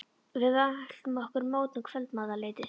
Við mæltum okkur mót um kvöldmatarleytið.